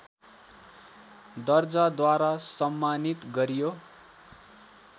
दर्जाद्वारा सम्मानित गरियो